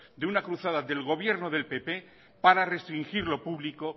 de una cruzada del gobierno del pp para restringir lo público